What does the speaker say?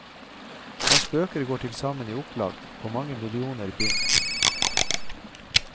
Hans bøker går til sammen i opplag på mange millioner bind.